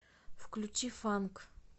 включи фанк